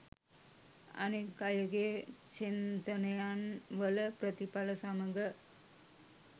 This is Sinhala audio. අනෙක් අයගේ චින්තනයන් වල ප්‍රතිඵල සමග